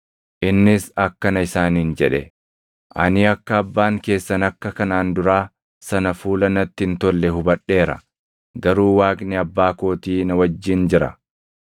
Innis akkana isaaniin jedhe; “Ani akka abbaan keessan akka kanaan duraa sana fuula natti hin tolle hubadheera; garuu Waaqni abbaa kootii na wajjin jira.